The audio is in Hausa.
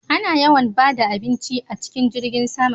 A na yawan bada abinci a cikin jirgin sama